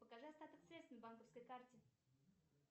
покажи остаток средств на банковской карте